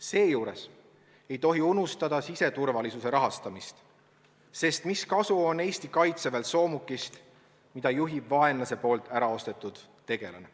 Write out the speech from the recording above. Seejuures ei tohi unustada siseturvalisuse rahastamist, sest mis kasu on Eesti kaitseväel soomukist, mida juhib vaenlase poolt ära ostetud tegelane.